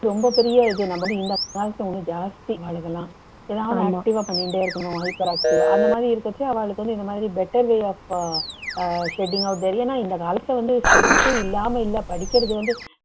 ரொம்ப பெரிய இது நம்ம ஜாஸ்தி அவாளுக்கெல்லாம் எதாவது active ஆ பண்ணின்டே இருக்கணும் hyperactive அந்த மாதிரி இருக்கச்ச அவாளுக்கு வந்து இந்த மாதிரி better way of ஏன்னா இந்த காலத்துல வந்து இல்லாம இல்ல படிக்கிறது வந்து